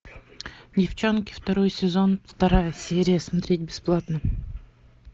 девчонки второй сезон вторая серия смотреть бесплатно